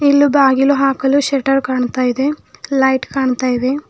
ಇಲ್ಲೂ ಬಾಗಿಲು ಹಾಕಲು ಶಟ್ಟರ್ ಕಾಣ್ತಾ ಇದೆ ಲೈಟ್ ಕಾಣ್ತಾ ಇದೆ.